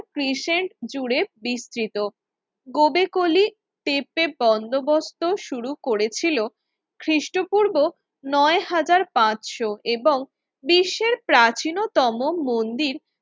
crescent জুড়ে বিস্তৃত Gobekli Tepe বন্দোবস্ত শুরু করেছিল খ্রিস্টপূর্ব নয় হাজার পাঁচশো এবং বিশ্বের প্রাচীনতম মন্দির